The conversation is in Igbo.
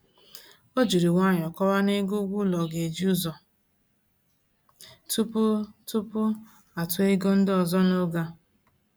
O jiri nwayọ kọwaa n'ego ụgwọ ụlọ ga-eji ụzọ tupu tupu atụọ ego ndị ọzọ n'oge a